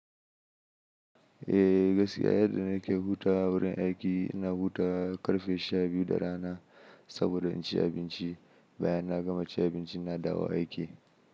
Eh gaskiya yadda na ke huta wurin aiki, ina hutawa ƙarfe sha biyu da rana saboda in ci abinci. Bayan na gama cin abinci na dawo aiki.